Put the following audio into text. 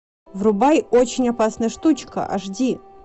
врубай очень опасная штучка аш ди